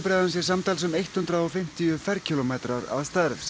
sé samtals um eitt hundrað og fimmtíu ferkílómetrar að stærð